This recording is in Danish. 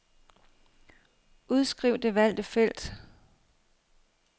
Udskriv det valgte felt.